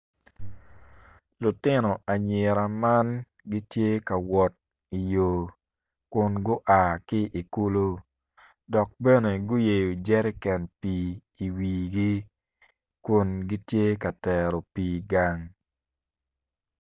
Lutino anyira man gitye ka wot i yo kun gua ki i kulu dok bene guyeo jereken pi i wigi kun gitye ka tero pi gang.